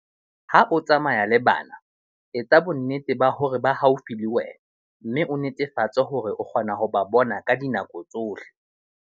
Ha o tsamaya le bana, etsa bonnete ba hore ba haufi le wena mme o netefatse hore o kgona ho ba bona ka dinako tsohle.